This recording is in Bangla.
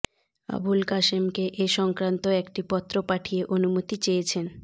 আবুল কাসেমকে এ সংক্রান্ত একটি পত্র পাঠিয়ে অনুমতি চেয়েছেন